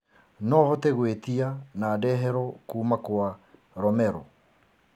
no hote gwitia na ndeherwo kũma kwa romero